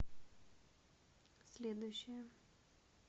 следующая